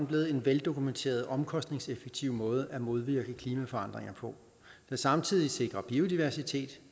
blevet en veldokumenteret omkostningseffektiv måde at modvirke klimaforandringer på der samtidig sikrer biodiversitet